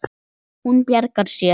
Hún bjargar sér.